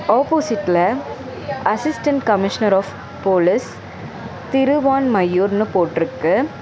ஆப்போசிட்ல assistant commissioner of police திருவான்மையூர்னு போட்ருக்கு.